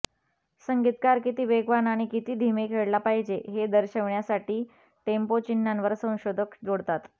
संगीतकार किती वेगवान किंवा किती धीमे खेळला पाहिजे हे दर्शवण्यासाठी टेम्पो चिन्हांवर संशोधक जोडतात